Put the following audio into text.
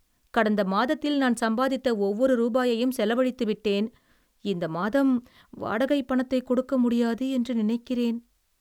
கடந்த மாதத்தில் நான் சம்பாதித்த ஒவ்வொரு ரூபாயையும் செலவழித்துவிட்டேன். இந்த மாதம் வாடகைப் பணத்தைக் கொடுக்க முடியாது என்று நினைக்கிறேன்.